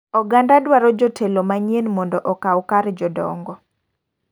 Oganda dwaro jotelo manyien mondo okaw kar jodongo.